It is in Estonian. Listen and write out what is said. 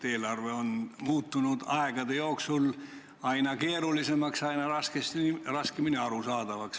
Eelarve on muutunud aegade jooksul aina keerulisemaks, aina raskemini arusaadavaks.